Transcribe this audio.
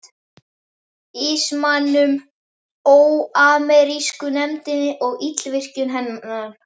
ismanum, óamerísku nefndinni og illvirkjum hennar?